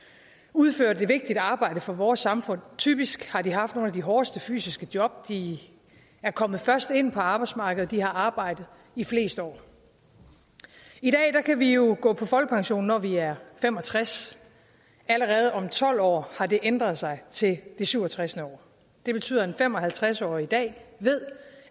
udført et vigtigt arbejde for vores samfund typisk har de haft nogle af de hårdeste fysiske job de er kommet først ind på arbejdsmarkedet og de har arbejdet i flest år i dag kan vi jo gå på folkepension når vi er fem og tres allerede om tolv år har det ændret sig til det syv og tres år det betyder at en fem og halvtreds årig i dag ved